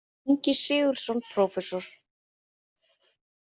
Ingi Sigurðsson prófessor.